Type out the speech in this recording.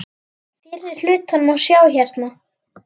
Fyrri hlutan má sjá hérna.